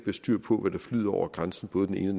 styr på hvad der flyder over grænsen både den ene